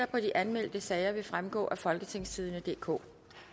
på de anmeldte sager vil fremgå af folketingstidende DK